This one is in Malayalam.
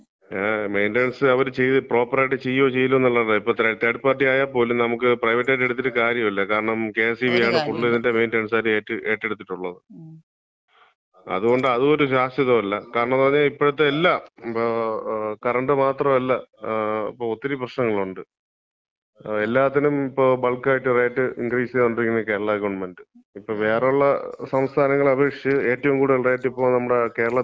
ങേ, മെയിന്‍റനൻസ് അവര് ചെയ്ത്, ഇപ്പം പ്രോപ്പറായിട്ട് ചെയ്യോ ചെയ്യൂലേന്ന് അറിയൂലല്ലോ. ഇപ്പം തേർഡ് പാർട്ടി ആയാപോലും നമ്മക്ക് പ്രൈവറ്റ് ആയിട്ട്എടുത്തിട്ട് കാര്യല്യ. കാരണം, കെ.എസ്.ഇ.ബി.-യാണ് മെയിന്‍റനൻസ് മുഴുവൻ ഏറ്റെടുത്തിട്ടുള്ളത്. അതുകൊണ്ട് അതും ഒരു ശ്വാശ്വതമല്ല. കാരണംന്ന് പറഞ്ഞാ ഇപ്പഴത്തെ എല്ലാം കറണ്ട് മാത്രമല്ല, ഇപ്പൊ ഒത്തിരി പ്രശ്നങ്ങളുണ്ട്. എല്ലാത്തിനും ഇപ്പൊ ബൾക്കായിട്ട് റേറ്റ് ഇൻക്രീസ് ചെയ്തോണ്ടിരിക്കാണ് കേരള ഗവൺമെന്‍റ്. ഇപ്പം വേറെ ഉള്ള സംസ്ഥാനങ്ങളെ അപേക്ഷിച്ച് ഏറ്റവും കൂടുതല് റേറ്റ് ഇപ്പം നമ്മുടെ കേരളത്തിലാണ്.